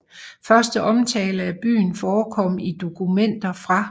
Første omtale af byen forekom i dokumenter fra